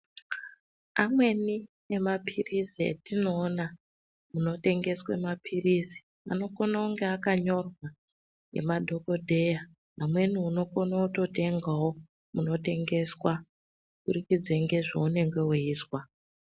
Amweni emapirizi atinoona munotengeswa mapirizi anokona kunga akanyorwa nemadhokodheya amweni unokona kutotengao munotengeswa kubudikidza ngezvaunenge weizwa.